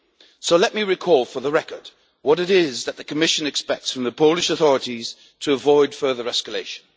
So let me recall for the record what it is that the Commission expects from the Polish authorities to avoid further escalation.